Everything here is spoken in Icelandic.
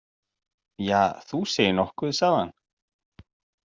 Ja, þú segir nokkuð, sagði hann.